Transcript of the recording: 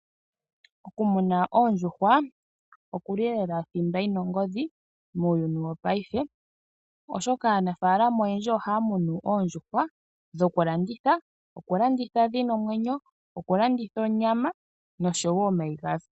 Okumuna oondjuhwa oku li lela thimba yi na ongodhi muuyuni wopaife, oshoka aanafaalama oyendji ohaya munu oondjuhwa dhokulanditha. Okulanditha dhi na omwenyo, okulanditha onyama nosho wo omayi gadho.